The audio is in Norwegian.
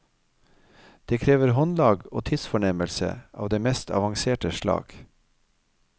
Det krever håndlag og tidsfornemmelse av det mest avanserte slag.